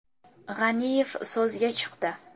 G‘aniyev so‘zga chiqdi.